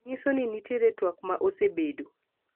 nyiso ni nitie twak ma osebedo